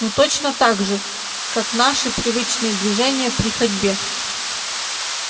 ну точно так же как наши привычные движения при ходьбе